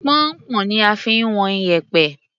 Pọnnpọ́n ni a fi ń wọn iyẹ̀pẹ̀.